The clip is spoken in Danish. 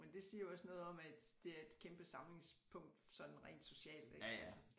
Men det siger jo også noget om at det er et kæmpe samlingspunkt sådan rent socialt ik altså